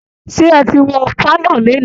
Ṣé ẹ ti wọ pálọ̀ lénìí'